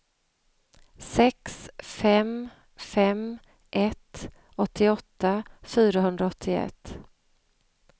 sex fem fem ett åttioåtta fyrahundraåttioett